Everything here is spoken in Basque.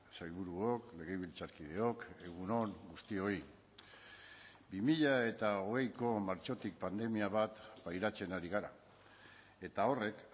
sailburuok legebiltzarkideok egun on guztioi bi mila hogeiko martxotik pandemia bat pairatzen ari gara eta horrek